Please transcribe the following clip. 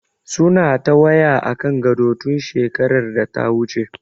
Suna ta waya akan gado, tun shekarar data wuce.